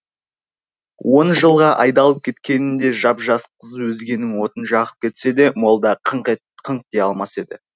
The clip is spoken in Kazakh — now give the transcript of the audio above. он жылға айдалып кеткенінде жап жас қыз өзгенің отын жағып кетсе де молда қыңқ дей алмас еді